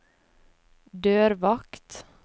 dørvakt